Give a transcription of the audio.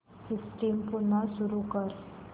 system पुन्हा सुरू कर